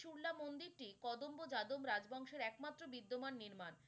শুরলা মন্দিরটি কদম্ব যাদম রাজ বংশের এক মাত্র বিদ্যমান নির্মান,